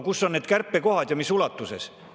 Kus on need kärpekohad ja mis ulatuses?